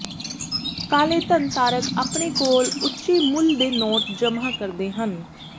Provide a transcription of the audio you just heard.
ਕਾਲੇ ਧਨ ਧਾਰਕ ਆਪਣੇ ਕੋਲ ਉੱਚੇ ਮੁੱਲ ਦੇ ਨੋਟ ਜਮ੍ਹਾ ਕਰਦੇ ਹਨ